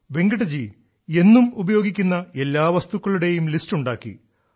വെങ്കിട്ടജി എന്നും ഉപയോഗിക്കുന്ന എല്ലാ വസ്തുക്കളുടെയും ലിസ്റ്റ് ഉണ്ടാക്കി